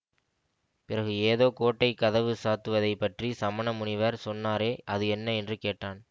பிறகு ஏதோ கோட்டை கதவு சாத்துவதைப் பற்றி சமண முனிவர் சொன்னாரே அது என்ன என்று கேட்டான்